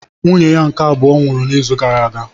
Nwunye ya nke abụọ nwụrụ n'izu gara aga